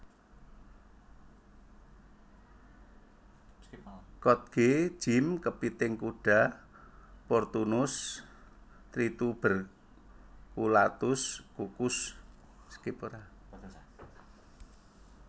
Kkotge jjim kepiting kuda Portunus trituberculatus kukus